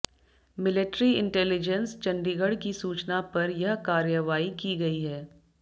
military intelligence Chandigarh की सूचना पर यह कार्रवाई की गयी है